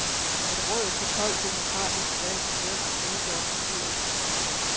Et råd på tolv demokratisk valgte bønder udgør bestyrelsen.